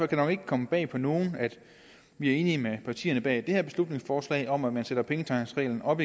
det nok ikke komme bag på nogen at vi er enige med partierne bag det her beslutningsforslag om at man igen sætter pengetanksreglen op